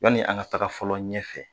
Yanni an ka taga fɔlɔ ɲɛfɛ